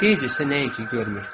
Geys isə nə üçün görmür.